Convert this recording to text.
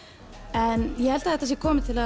en ég held að þetta sé komið til